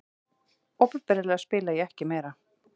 Opinberlega spila ég ekki meira.